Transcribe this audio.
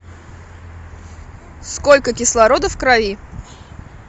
сколько кислорода в крови